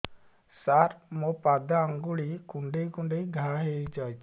ସାର ମୋ ପାଦ ଆଙ୍ଗୁଳି କୁଣ୍ଡେଇ କୁଣ୍ଡେଇ ଘା ହେଇଯାଇଛି